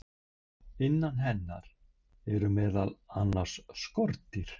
innan hennar eru meðal annars skordýr